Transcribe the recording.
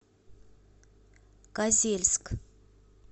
козельск